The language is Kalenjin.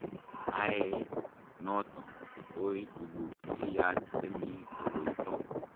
Ae noto kotoi tuguk che yach chemi koroito.